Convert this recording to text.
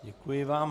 Děkuji vám.